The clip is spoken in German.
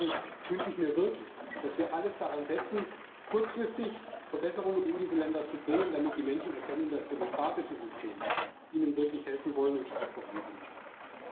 Deswegen wünsche ich mir wirklich, dass wir alles daran setzen, kurzfristig Verbesserungen in diese Länder zu bringen, damit die Menschen erkennen, dass demokratische Systeme ihnen wirklich helfen und sie auch voranbringen wollen.